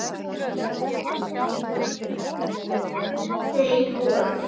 Þau voru